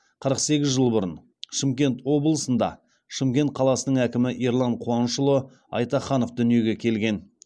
қырық сегіз жыл бұрын шымкент облысында шымкент қаласының әкімі ерлан қуанышұлы айтаханов дүниеге келген